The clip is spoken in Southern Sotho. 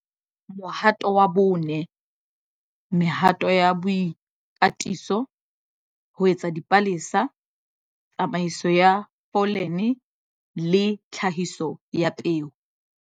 Mohato wa 4- Mehato ya boikatiso - ho etsadipalesa, tsamaiso ya pholene le tlhahiso ya peo.